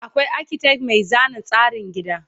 akwai architect Mai zana tsarin gida